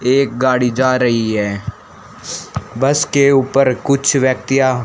एक गाड़ी जा रही है बस के ऊपर कुछ व्यक्तियां--